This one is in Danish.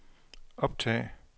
optag